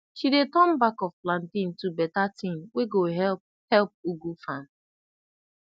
she dey turn back of plantain to beta tin wey go help help ugu farm